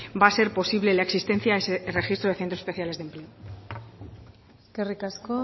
va a ser posible la existencia de ese registro de centros especiales de empleo eskerrik asko